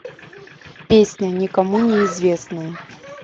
песня никому не известная